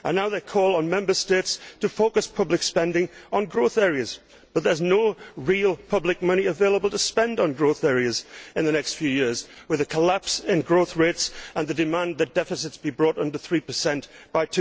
Now it is calling on Member States to focus public spending on growth areas, but there is no real public money available to spend on growth areas in the next few years, what with the collapse in growth rates and the demand that deficits be brought under 3 by